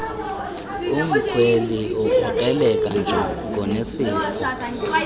umkhweli ukrokreleka njengonesifo